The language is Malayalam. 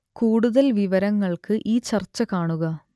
കൂടുതൽ വിവരങ്ങൾക്ക് ഈ ചർച്ച കാണുക